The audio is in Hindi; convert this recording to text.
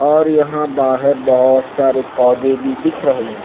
और यहां बाहर बहुत सारे पौधे भी दिख रहे हैं।